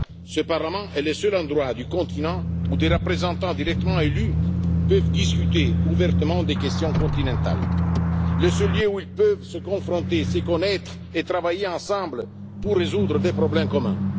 Ce Parlement est le seul endroit du continent où des représentants directement élus peuvent discuter ouvertement des questions continentales. Le seul lieu où ils peuvent se confronter, se connaître et travailler ensemble pour résoudre des problèmes communs.